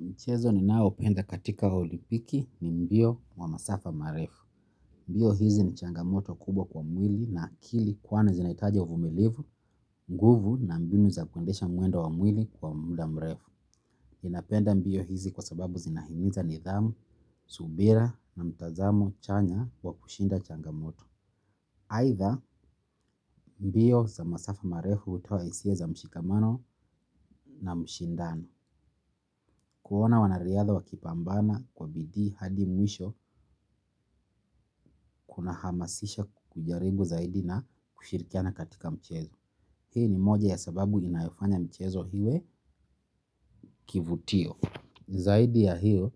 Mchezo ni nao penda katika Olimpiki ni mbio wa masafa marefu. Mbio hizi ni changamoto kubwa kwa mwili na akili kwani inahitaji uvumilivu, nguvu na mbinu za kundesha muendo wa mwili kwa muda mrefu. Inapenda mbio hizi kwa sababu, zinahimiza ni dhamu, subira na mtazamo chanya, wa kushinda changamoto. Aitha, mbio za masafa marefu, utawa hisia za mshikamano na mshindano. Kuona wanariadha wakipambana kwa bidii, hadi mwisho, kuna hamasisha kujaribu zaidi na kushirikiana katika mchezo. Hii ni moja ya sababu inayofanya mchezo hiwe kivutio. Zaidi ya hiyo,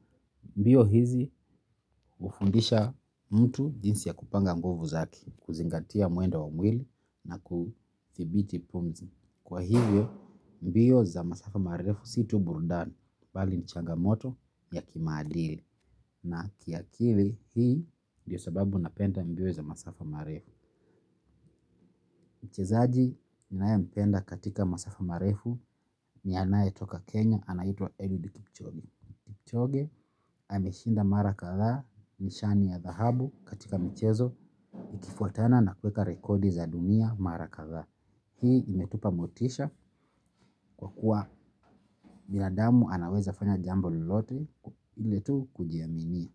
mbio hizi, hufundisha mtu jinsi ya kupanga nguvu zake, kuzingatia mwendo wa mwili na kuthibiti pumzi. Kwa hivyo, mbio za masafa marefu si tu burudani, bali ni changamoto, ya kimaadili. Na kiakili. Hii ndio sababu napenda mbio za masafa marefu. Mchezaji, ninae mpenda katika masafa marefu ni anaye toka Kenya, anaitwa Edward Kipchoge. Kipchoge, ameshinda mara kathaa, nishani ya dhahabu katika michezo, ikifuatana na kweka rekodi za dunia, mara kathaa. Hii imetupa motisha, kwa kuwa binadamu anaweza fanya jambo lolote ile tu kujiaminia.